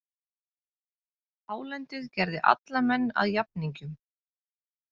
Hálendið gerði alla menn að jafningjum.